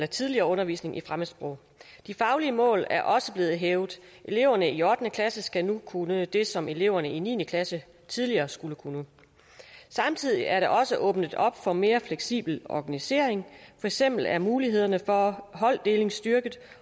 tidligere undervisning i fremmedsprog de faglige mål er også blevet hævet eleverne i ottende klasse skal nu kunne det som eleverne i niende klasse tidligere skulle kunne samtidig er der også åbnet op for en mere fleksibel organisering for eksempel er mulighederne for holddeling styrket